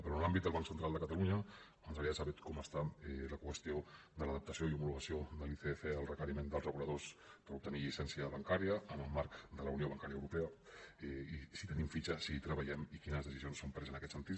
però en l’àmbit del banc central de catalunya ens agradaria saber com està la qüestió de l’adaptació i homologació de l’icf al requeriment dels reguladors per obtenir llicència bancària en el marc de la unió bancària europea i si tenim fitxa si hi treballem i quines decisions s’han pres en aquest sentit